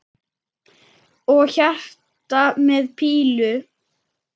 Og hjarta með pílu!